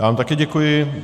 Já vám také děkuji.